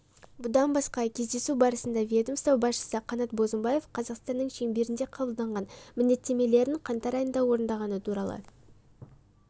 бұдан басқа кездесу барысында ведомство басшысы қанат бозымбаев қазақстанның шеңберінде қабылдаған міндеттемелерін қаңтар айында орындағаны туралы